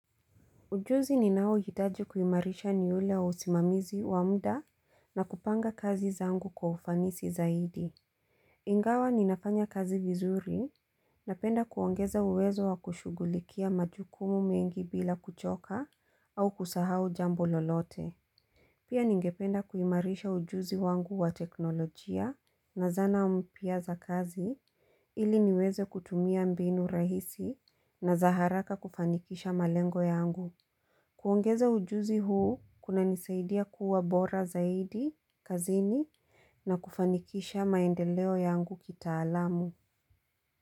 Ujuzi ninaohitaji kuimarisha ni ule usimamizi wa muda na kupanga kazi zangu kwa ufanisi zaidi. Ingawa ninafanya kazi vizuri napenda kuongeza uwezo wa kushugulikia majukumu mengi bila kuchoka au kusahau jambo lolote. Pia ningependa kuimarisha ujuzi wangu wa teknolojia na zana mpya za kazi ili niweze kutumia mbinu rahisi na za haraka kufanikisha malengo yangu. Kuongeza ujuzi huu, kuna nisaidia kuwa bora zaidi, kazini na kufanikisha maendeleo yangu kitaalamu.